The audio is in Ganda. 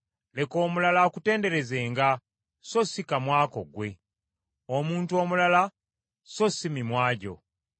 Leka omulala akutenderezenga so si kamwa ko ggwe, omuntu omulala so si mimwa gyo.